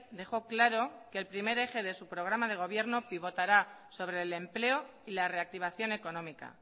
dejó claro que el primer eje de su programa de gobierno pivotará sobre el empleo y la reactivación económica